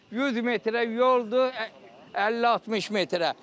100 metrə yoldur, 50-60 metrə.